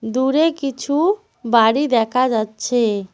দূরে কিছু বাড়ি দেখা যাচ্ছে।